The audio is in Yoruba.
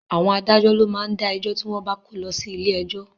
Àwọn adájọ́ ló má ń dá ẹjọ́ tí wọ́n bá kó lọ sí ilé ẹjọ́